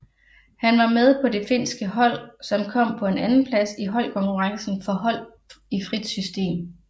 Han var med på det finske hold som kom på en andenplads i holdkonkurrencen for hold i frit system